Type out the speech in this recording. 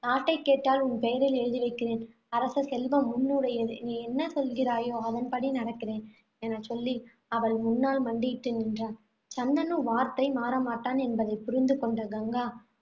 நாட்டைக் கேட்டால் உன் பெயரில் எழுதி வைக்கிறேன். அரச செல்வம் உன்னுடையது. நீ என்ன சொல்கிறாயோ, அதன்படி நடக்கிறேன், எனச் சொல்லி அவள் முன்னால் மண்டியிட்டு நின்றான். சந்தனு வார்த்தை மாறமாட்டான் என்பதைப் புரிந்து கொண்ட கங்கா, .